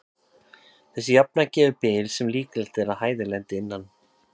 Þessi jafna gefur bil sem líklegt er að hæðin lendi innan.